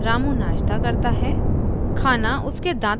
रामू की माँ उसे नाश्ते के लिए बुलाती है